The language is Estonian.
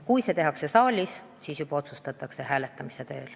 Kui see tehakse saalis, siis otsustatakse siin hääletamise teel.